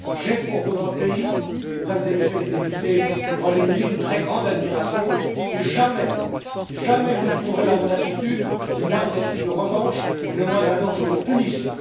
J'ai pour votre pays, Mesdames et Messieurs les députés du Royaume Uni, une très grande admiration et jamais, au grand jamais, vous ne trouverez dans mon attitude le moindre esprit de revanche et la moindre intention de punition.